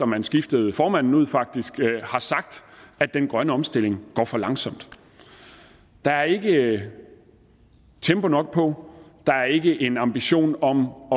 man skiftede formanden ud faktisk har sagt at den grønne omstilling går for langsomt der er ikke tempo nok på der er ikke en ambition om